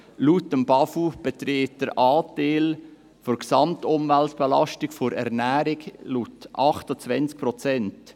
Laut dem BAFU beträgt der Anteil der Ernährung an der Gesamtumweltbelastung 28 Prozent.